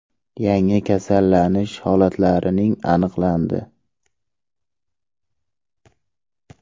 Yangi kasallanish holatlarining aniqlandi.